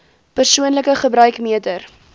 persoonlike gebruik meter